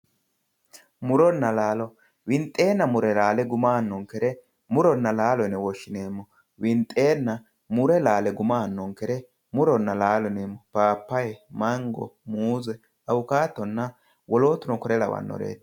muronna laalo winxeenna mure laale guma aanonnkere muronna laalo yine woshshineemo winxeenna mure laale guma aanonnkere muronna laalo yine papaya, mango, muuse, awukatonna wolootuno konne lawannoreeti.